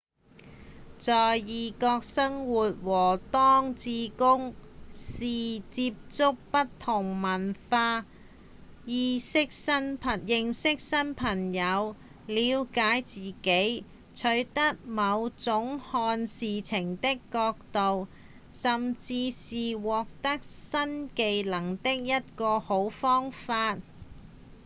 在異國生活和當志工是接觸不同文化、認識新朋友、了解自己、取得某種看事情的角度甚至是獲得新技能的一個好方法